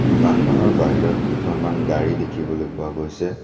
দোকানখনৰ বাহিৰত কেইখনমান গাড়ী দেখিবলৈ পোৱা গৈছে।